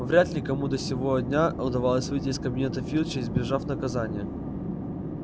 вряд ли кому до сегодня удавалось выйти из кабинета филча избежав наказания